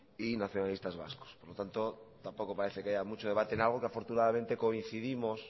y nacionalistas vascos por lo tanto tampoco parece que haya mucho debate en algo que afortunadamente coincidimos